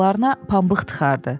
Qulaqlarına pambıq tıxardı.